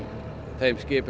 þeim skipum